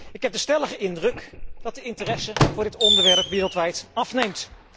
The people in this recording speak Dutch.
Ik heb de stellige indruk dat de interesse voor het onderwerp wereldwijd afneemt.